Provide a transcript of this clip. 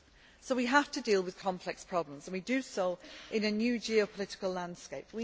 So we have to deal with complex problems and we do so in a new geopolitical landscape.